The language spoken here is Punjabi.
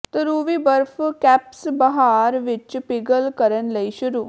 ਧਰੁਵੀ ਬਰਫ਼ ਕੈਪਸ ਬਹਾਰ ਵਿੱਚ ਪਿਘਲ ਕਰਨ ਲਈ ਸ਼ੁਰੂ